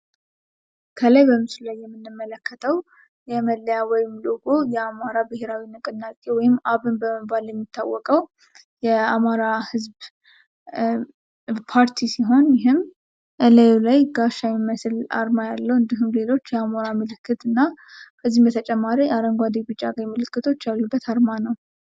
ከላይ በምስሉ ላይ የምንመለከተው መለያ ወይም ሎጎ የአማራ ብሄራዊ ንቅናቄ ወይም አብን በመባልየሚታወቀው የአማራ ህዝብ ታርቲ ሲሆን፤ ይህም እላዩ ላይ ጋሻ የሚመስል አርማ ያለው እንዲሁም ሌሎች የአማራ ምልክት እና ከዚህም በተጨማሪ አረንጓደ ቢጫ ቀይ ምልክቶች ያሉበት አርማ ነው።